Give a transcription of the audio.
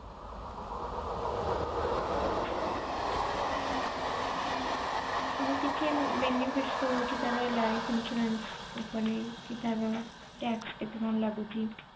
ଆଉ କିଛି benefit ରହୁଛି ତାର life insurance ଉପରେ କି ତାର tax କେତେ କଣ ଲାଗୁଛି?